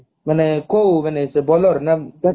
କୋଉ ମାନେ ସେ bowler ନା